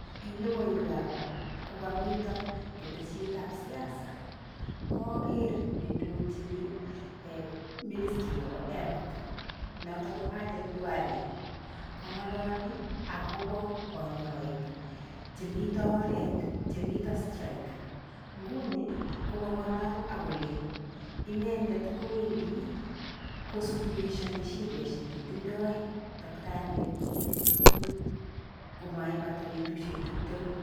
Eng logoiwekab ra kokamitoo ketesietab siasa. Kager ne ndojini ministry nebo health notok ko Aden Nduale kang'alali akobo kanyaik chemito oret chemito strike. Nguni ko kang'alaal akole inendet kowendii kosuluishani shideshek che tindoi daktariek ko maibata betushek tiptemu.